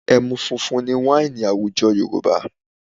Ẹmu funfun ni wáìnì àwùjọ Yorùbá